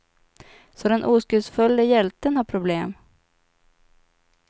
Så den oskuldsfulle hjälten har problem.